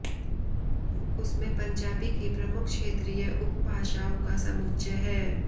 उसमें पंजाबी की प्रमुख क्षेत्रीय उपभाषाओं का समुच्चय है